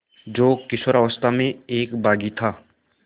जो किशोरावस्था में एक बाग़ी था